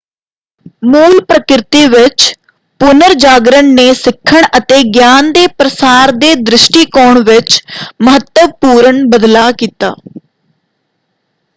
ਮੂਲ ਪ੍ਰਕਿਰਤੀ ਵਿੱਚ ਪੁਨਰਜਾਗਰਨ ਨੇ ਸਿੱਖਣ ਅਤੇ ਗਿਆਨ ਦੇ ਪ੍ਰਸਾਰ ਦੇ ਦ੍ਰਿਸ਼ਟੀਕੋਣ ਵਿੱਚ ਮਹੱਤਵਪੂਰਨ ਬਦਲਾਅ ਕੀਤਾ।